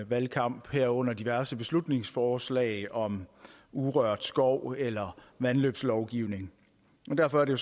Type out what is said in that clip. valgkampe herunder diverse beslutningsforslag om urørt skov eller vandløbslovgivning derfor er det